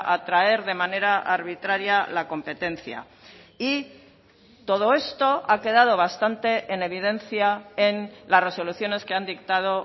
atraer de manera arbitraria la competencia y todo esto ha quedado bastante en evidencia en las resoluciones que han dictado